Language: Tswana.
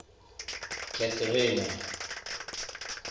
cathrina